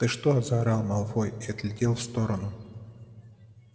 ты что заорал малфой и отлетел в сторону